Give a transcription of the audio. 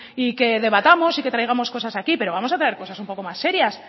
y que debatamos y que traigamos cosas aquí pero vamos a traer cosas un poco más serias